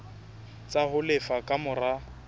tsa ho lefa ka mora